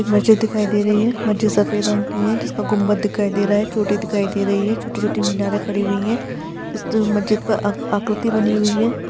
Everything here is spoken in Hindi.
एक मस्जिद दिखाइ दे रही है मस्जिद सफेद रंग की है जिसका घुमट दिखाई दे रहा है चोटी दिखाई दे रही है छोटी-छोटी मिनरे खड़ी हुई है इस मस्जिद पे आ-आकृति बनी हुई है।